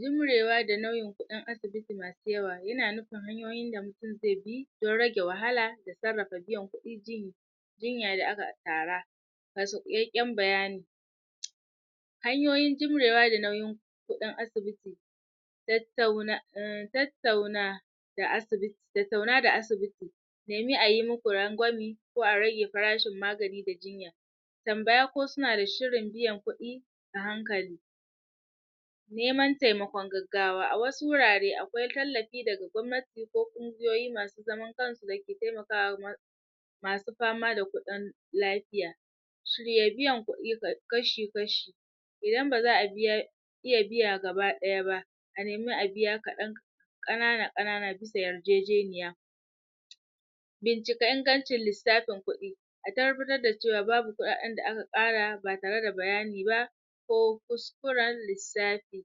jimrewa da nauyin kuɗin asibiti masu yawa yana nufin hanyoyin da mutum ze bi don rage wahala sarrafa biyan kuɗin jin jinya da aka tara ga sauƙaƙeƙƙen bayani hanyoyin jimrewa da nauyin kuɗin asibiti tattauna um tattauna da asibiti tattauna da asibiti nemi a yi mu ku rangwami ko a rage farashin magani da jinya tambaya ko suna da shirin biyan kuɗi a hankali neman temakon gaggawa a wasu wurare akwai tallafi daga gwamnati ko ƙungiyoyi masu zaman kan su da ke temakawa ma masu fama da kuɗin lafiya shirya biyan kuɗi kashi-kashi idan ba za'a biya iya biya gaba ɗaya ba a nemi a biya kaɗan ƙanana-ƙanana bisa yarjejeniya bincika ingancin lissafin kuɗi a tabbatar da cewa babu kuɗaɗen da aka ƙara ba tare da bayani ba ko kuskuren lissafi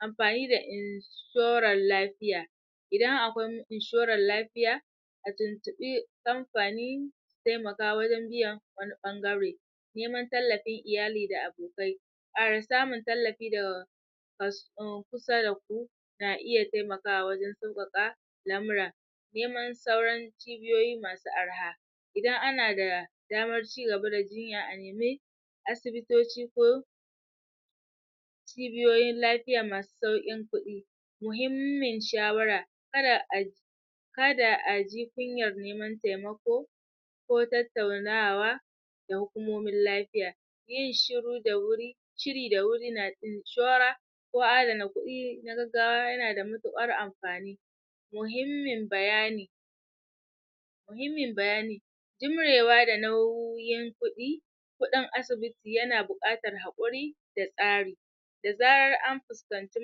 amfani da in shoran lafiya idan akwai inshoran lafiya a tuntuɓi kamfani su temaka wajen biyan wani ɓangare neman tallafin iyali da abokai ƙara samun tallafi da kusa da ku na iya temakawa wajen sauƙaƙa lamura neman sauran cibiyoyi masu arha idan ana da damar ci gaba da jinya a nemi asibitoci ko cibiyoyin lafiya masu sauƙin kuɗi muhimmin shawara kada a kada a ji kunyar neman temako ko tattaunawa da hukumomin lafiya yin shiru da wuri shiri da wuri na inshora ko adana kuɗi na gaggawa yana da matuƙar amfani muhimmin bayani muhimmin bayani jimrewa da nau yin kuɗi kuɗin asibiti yana buƙatar haƙuri da tsari da zarar an fuskanci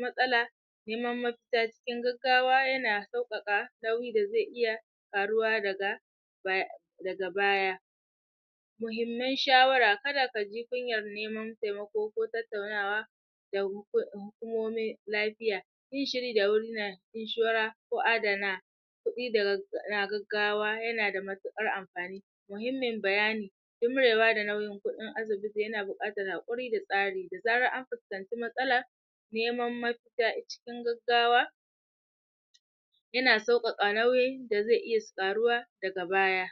matsala neman mafita cikin gaggawa yana sauƙaƙa nauyi da ze iya faruwa daga daga baya muhimmin shawara kada ka ji kunyar neman temako ko tattaunawa da hukumomin lafiya yin shiri da wuri na inshora ko adana kuɗi na gaggawa yana da matuƙar amfani muhimmin bayani jimrewa da nauyin kuɗin asibiti yana buƙatar haƙuri da tsari da zaran an fuskanci matsala neman mafita a cikin gaggawa yana sauƙaƙa nauyi da ze iya faruwa daga baya